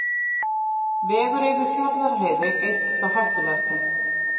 Vegur yfir Fjarðarheiði einn sá hættulegasti